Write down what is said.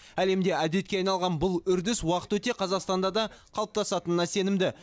әлемде әдетке айналған бұл үрдіс уақыт өте қазақстанда да қалыптасатынына сенімді